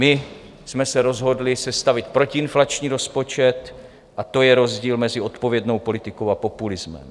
My jsme se rozhodli sestavit protiinflační rozpočet a to je rozdíl mezi odpovědnou politikou a populismem.